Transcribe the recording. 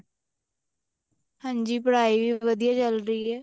ਹਾਂਜੀ ਪੜ੍ਹਾਈ ਵੀ ਵਧੀਆ ਚੱਲਦੀ ਆ